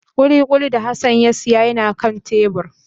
Kulikuli da Hassan ya siya yana kan tebur